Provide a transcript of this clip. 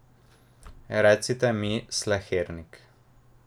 Recite mi Slehernik.